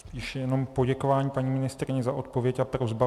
Spíše jenom poděkování paní ministryni za odpověď a prosba.